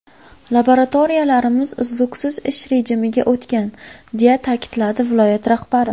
Laboratoriyalarimiz uzluksiz ish rejimiga o‘tgan”, deya ta’kidladi viloyat rahbari.